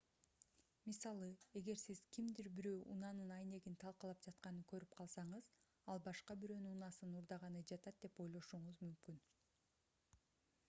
мисалы эгер сиз кимдир бирөө унаанын айнегин талкалап жатканын көрүп калсаңыз ал башка бирөөнүн унаасын уурдаганы жатат деп ойлошуңуз мүмкүн